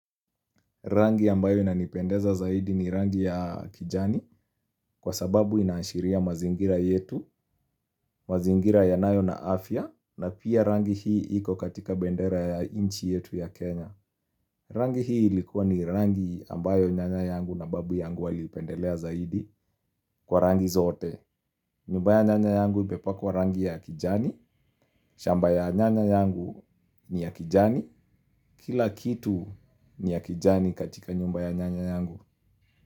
Rangi ambayo inanipendeza zaidi ni rangi ya kijani kwasababu inaashiria mazingira yetu, mazingira yanayo na afya na pia rangi hii iko katika bendera ya nchi yetu ya Kenya. Rangi hii ikuwa ni rangi ambayo nyanya yangu na babu yangu waliipendelea zaidi kwa rangi zote. Nyumba ya nyanya yangu imepakwa rangi ya kijani, shamba ya nyanya yangu ni ya kijani, kila kitu ni ya kijani katika nyumba ya nyanya yangu.